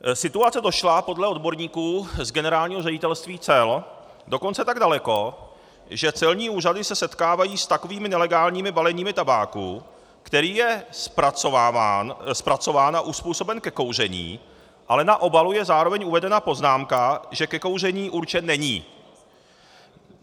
Situace došla podle odborníků z Generálního ředitelství cel dokonce tak daleko, že celní úřady se setkávají s takovými nelegálními baleními tabáku, který je zpracován a uzpůsoben ke kouření, ale na obalu je zároveň uvedena poznámka, že ke kouření určen není.